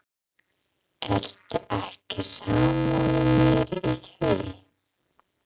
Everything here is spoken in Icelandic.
Ertu ekki sammála mér í því?